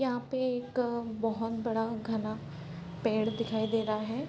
यहाँ पे एक बहुत बड़ा घना पेड़ दिखाई दे रहा है